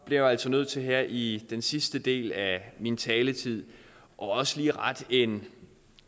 bliver jeg altså nødt til her i den sidste del af min taletid også lige at rette en